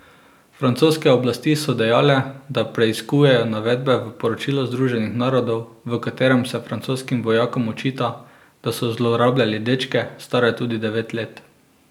Francoske oblasti so dejale, da preiskujejo navedbe v poročilu Združenih narodov, v katerem se francoskim vojakom očita, da so zlorabljali dečke, stare tudi devet let.